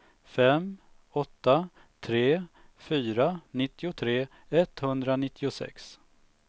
fem åtta tre fyra nittiotre etthundranittiosex